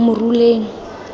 moruleng